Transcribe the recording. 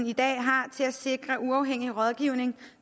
i dag har til at sikre uafhængig rådgivning